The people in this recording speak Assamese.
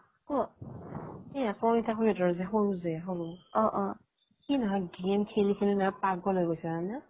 ক এ আকৰ তাকৰি হাতৰ সৰু যে সি নহয় game খেলি খেলি পাগল হৈ গৈছে জানানে